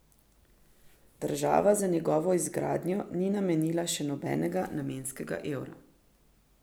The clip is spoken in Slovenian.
Država za njegovo izgradnjo ni namenila še nobenega namenskega evra.